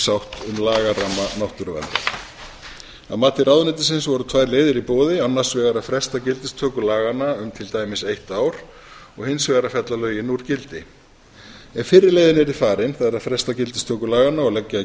sátt um lagaramma náttúruverndar að mati ráðuneytisins voru tvær leiðir í boði annars vegar að fresta gildistöku laganna um til dæmis eitt ár og hins vegar að fella lögin úr gildi ef fyrri leiðin yrði farin það er að fresta gildistöku laganna og leggja í